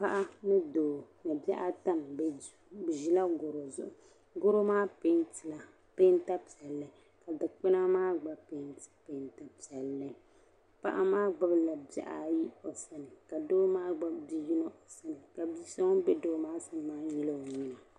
Paɣa ni doo ni bɛ bihi ata n be duu , bɛ ʒila garɔ zuɣu, garɔ maa pɛɛntila pɛɛnta piɛli, ka dikpuna maa gba pɛɛnti pɛɛnta piɛli, paɣa maa gbubi la bihi ayi, ka doo maa gbubi biyinɔ, ka bisɔ ŋun be doo maa nuuni maa nyili ɔ nyina.